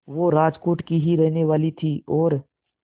वो राजकोट की ही रहने वाली थीं और